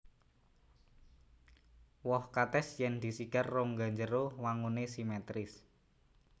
Woh katès yèn disigar rongga njero wanguné simetris